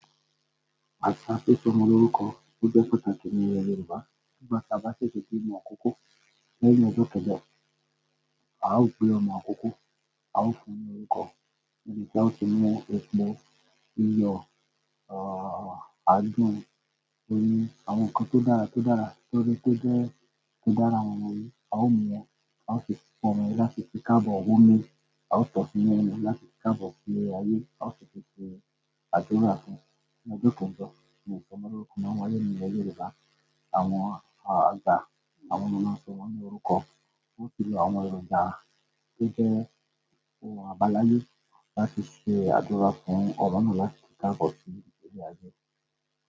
Àṣà sísọ ọmọ lórúkọ ó jẹ́ pàtàkì nílẹ̀ Yorùbá. Nígbà tí a bá ṣètò bí ọmọ òkúkọ, lẹ́yìn ọjọ́ kejọ, a ó gbé ọmọ òkúkọ, a ó fún ní orúkọ níbi tí a ó tún mú ẹpọ, iyọ̀, e e a a adùn, oyin, àwọn nǹkan tó dára tó dára torí pé ó jẹ́ kí o dára mọ́mọ yìí. A ó mú ẹ, a ó fi ipọn omi láti fi kábọ̀ òwó mi, a ó tọ́pin ẹ ní omi láti fi kábọ̀ kún ilé ayé, a ó fi tún ṣe àdúrà fún ọmọ tí ó kú ńjọ ní sọmọ lórúkọ. Ní ọmọ Yorùbá, àwọn àga, àwọn ọmọ náà sọ wọn ní orúkọ. Ó ti lọ àwọn èròjà tó jẹ́ àbáláyé láti fi ṣe àdúrà fún Orunmìlá láti fi kábọ̀ kún ilé ayé.